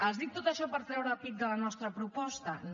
els dic tot això per treure pit de la nostra proposta no